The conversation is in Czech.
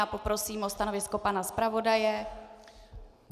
Já poprosím o stanovisko pana zpravodaje.